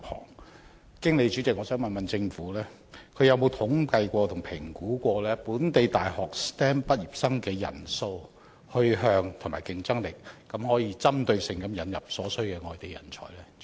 我想透過主席詢問政府，曾否進行統計和評估，本地大學 STEM 畢業生的人數、去向和競爭力，然後針對性引入所需的內地人才呢？